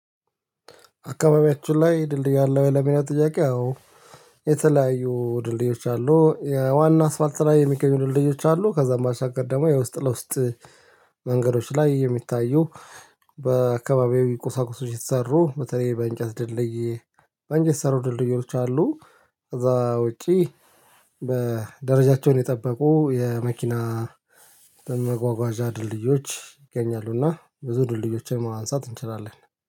አካባቢያችሁ ላይ ድልድይ አለወይ ለሚለው ጥያቄ? አዎ። የተለያዩ ድልድዮች አሉ የዋና አስፋልት ላይ የሚገኙ ድልድዮች አሉ። ከዛም ባሻገር ደግሞ የውስጥ ለውስጥ መንገዶች ላይ የሚታዩ በአካባቢያዊ ቁሳቁሶች የተሰሩ በተለይ በእንጨት ድልድይ በእንጨት የተሰሩ ድልድዮች አሉ። ከዛ ውጪ በ ደረጃቸውን የጠበቁ የመኪና መጓጓዣ ድልድዮች ይገኛሉና ብዙ ድልድዮችን ማንሳት እንችላለን